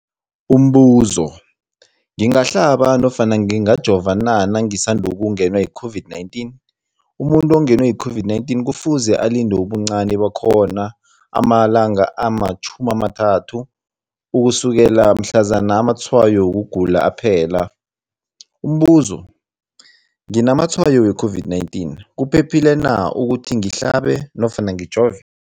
Umbuzo, ngingahlaba nofana ngingajova na nangisandu kungenwa yi-COVID-19? Umuntu ongenwe yi-COVID-19 kufuze alinde ubuncani bakhona ama-30 wama langa ukusukela mhlazana amatshayo wokugula aphela. Umbuzo, nginamatshayo we-COVID-19, kuphephile na ukuthi ngihlabe nofana ngijove?